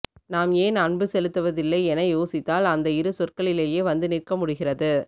நாம் ஏன் அன்பு செலுத்துவதில்லை என யோசித்தால் அந்த இரு சொற்களிலேயே வந்து நிற்க முடிகிறது